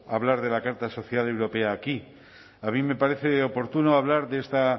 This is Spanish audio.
hablar de la carta social europea aquí a mí me parece oportuno hablar de esta